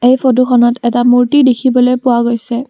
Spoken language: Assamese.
এই ফটোখনত এটা মূৰ্ত্তি দেখিবলৈ পোৱা গৈছে।